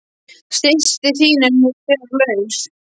Systir þín er nú þegar laus!